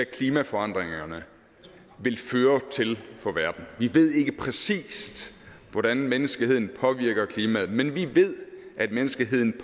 klimaforandringerne vil føre til vi ved ikke præcis hvordan menneskeheden påvirker klimaet men vi ved at menneskeheden